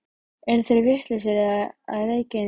Eru þeir vitlausir að reykja inni í hlöðu?